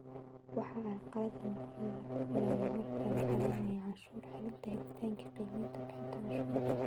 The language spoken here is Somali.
Wax carqalad ah lama filayo marka la xareynayo canshuur celinta, helitaanka qiimeynta iyo bixinta canshuurta.